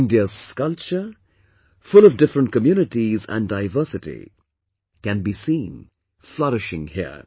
India's culture, full of different communities and diversity can be seen flourishing here